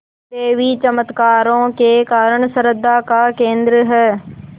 देवी चमत्कारों के कारण श्रद्धा का केन्द्र है